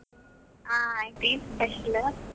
ಆ ಆಯ್ತು, ಏನು special?